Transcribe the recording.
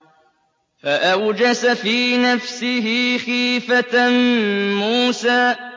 فَأَوْجَسَ فِي نَفْسِهِ خِيفَةً مُّوسَىٰ